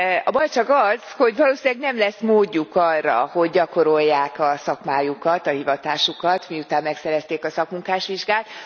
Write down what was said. A baj csak az, hogy valószínűleg nem lesz módjuk arra, hogy gyakorolják a szakmájukat, a hivatásukat, miután megszerezték a szakmunkásvizsgát.